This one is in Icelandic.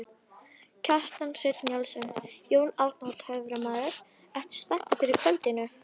Kjartan Hreinn Njálsson: Jón Arnór töframaður, ertu spenntur fyrir kvöldinu?